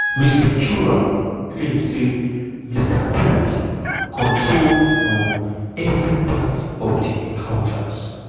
ms ventura claim say mr combs control um every part of di encounters.